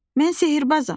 Mən sehrbazam.